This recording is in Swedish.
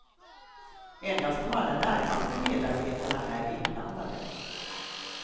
Endast de allra närmaste medarbetarna är inblandade.